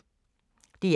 DR K